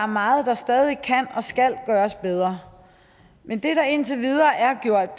meget der stadig kan og skal gøres bedre men det der indtil videre er gjort